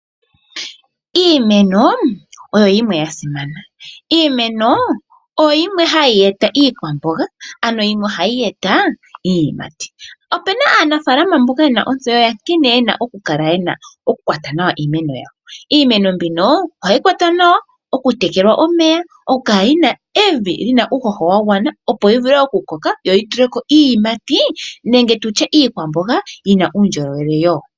Iimeno oyo yimwe yasimana. Iimeno oyo yimwe hayi e ta iikwamboga ano yimwe ohayi e ta iiyimati. Opuna aanafaalama yamwe mboka yina otseyo yakineena oku kwata nawa iimeno yawo. Iimeno mbino ohayi kwatwa nawa, oku tekelwa omeya, oku kala yina uuhoho wagwana opo yi vule oku koka yo yituleko iiyimati Nenge tutye iikwamboga yina uundjolowele woo.